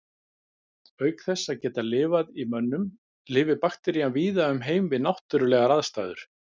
Auk þess að geta lifað í mönnum lifir bakterían víða um heim við náttúrulegar aðstæður.